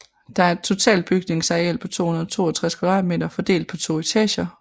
Der er et totalt bygningsareal på 262 m2 fordelt på to etager